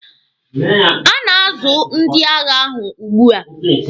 A na-azu ndị agha ahụ ugbua.